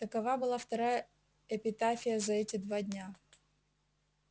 такова была вторая эпитафия за эти два дня